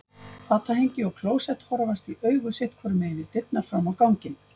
Fatahengi og klósett horfast í augu sitt hvoru megin við dyrnar fram á ganginn.